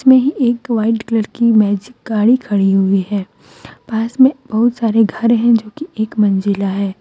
एक white colour की magic गाड़ी खड़ी हुई है पास में बहुत सारे घर हैं जोकि एक मंजिला है।